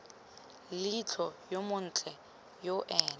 leitlho yo montle yo ene